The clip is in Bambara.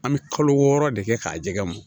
An bɛ kalo wɔɔrɔ de kɛ k'a jɛgɛ mɔn